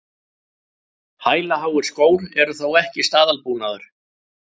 Hælaháir skór eru þó ekki staðalbúnaður